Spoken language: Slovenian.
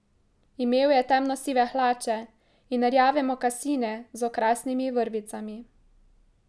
Imel je temno sive hlače in rjave mokasine z okrasnimi vrvicami.